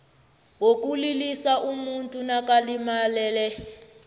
wokulilisa umuntu nakalimalele